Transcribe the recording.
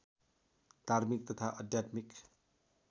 धार्मिक तथा आध्यात्मिक